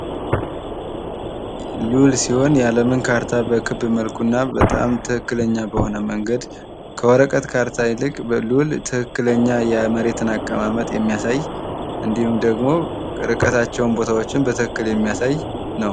ሉል ሲሆን፤ የአለምን ካርታ በክብ መልኩ እና በጣም ትክክለኛ በሆነ መንገድ ከወረቀት ካርታ ይልቅ በሉል ትክክለኛ የምድርን አቅማመጥ የሚያሳይ እንዲሁም ደሞ ርቀት እና ቦታዎችን በትክክል የሚያሳይ ነው።